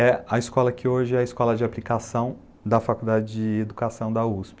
É a escola que hoje é a escola de aplicação da Faculdade de Educação da USP.